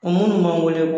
O minnu b'an wele